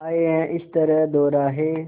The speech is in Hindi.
आए हैं इस तरह दोराहे